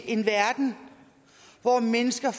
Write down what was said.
en verden hvor mennesker